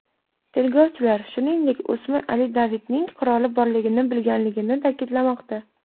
Tergovchilar, shuningdek, o‘smir Ali Davidning quroli borligini bilganligini ta’kidlamoqda.